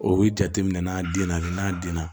O bɛ jate minɛ n'a den na n'a denna